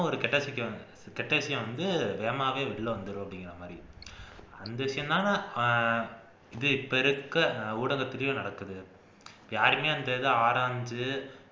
ஒரு கெட்ட கெட்ட விஷயம் வந்து வேகமாவே வெளில வந்துரும் அப்படிங்கிற மாதிரி வந்துச்சுன்னா அஹ் இது இப்ப ஊடகத்துலையும் நடக்குது யாருமே அந்த இது ஆராஞ்சு